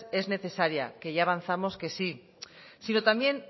es necesaria que ya avanzamos que sí sino también